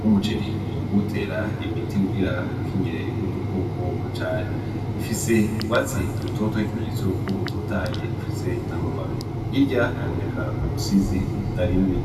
w'umuceri mu kutera imiti kugira ukingire udukoko cane ifise ugwatsi i rutoto h'ikimenyetso y'uko utotaye ufise n'amababe hirya haboneka ubusizi butarimwe.